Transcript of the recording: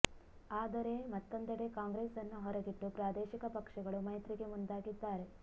ಆದರೆ ಮತ್ತೊಂದೆಡೆ ಕಾಂಗ್ರೆಸ್ ಅನ್ನು ಹೊರಗಿಟ್ಟು ಪ್ರಾದೇಶಿಕ ಪಕ್ಷಗಳು ಮೈತ್ರಿಗೆ ಮುಂದಾಗಿದ್ದಾರೆ